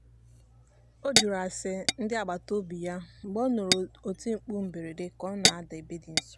ọ jụrụ ase ndị agbataobi ya mgbe ọ nụrụ oti mkpu mberede ka ọ na-ada ebe dị nso.